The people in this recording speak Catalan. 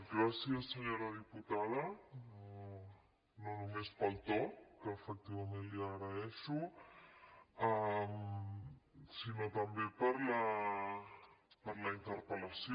gràcies senyora diputada no només pel to que efectivament li agraeixo sinó també per la interpel·lació